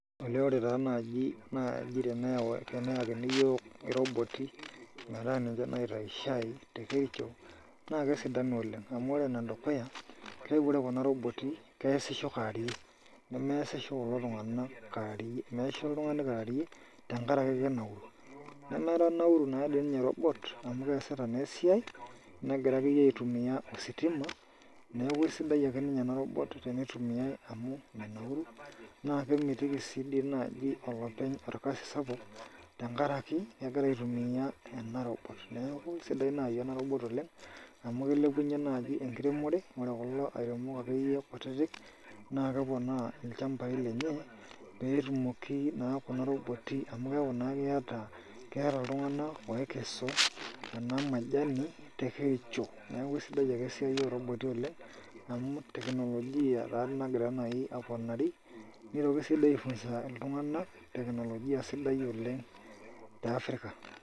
Olee ore taa naaji teneyakini iyiook iroboti metaa ninje naitayu shai tekericho naa kesidanu oleng',amu ore enedukuya olee ore kuna roboti keyasisho kaarie, nemeasisho kulo tunganak kaarie, measisho oltungani kaarie tenkaraki kenauru nemenauru nadoi ninye robot amu keasita natoi esiai, negira akeyie aitumiya ositima neeku aisidai akeyie ninye ena robot tenitumiyai amu menauru naa kemitiki sii naaji olopeny olkasi sapuk tenkaraki kegira aitumiya ena robot. Neeku sidai naaji ena robot oleng',amu kilepunyie naaji enkiremore ore kulo airemok akeyie kutiti naa keponaa ilchambai lenye peetumoki naa kuna robot amu keeku naa keeta oltungani ookesu ena majani tekericho. Neeku kesidai ake esiai oroboti oleng',amu teknologia taatoi nagira naaji aponari, nitoki sii dii aifunza iltunganak teknologia sidai oleng' tiafirik.